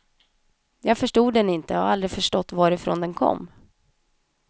Jag förstod den inte, har aldrig förstått varifrån den kom.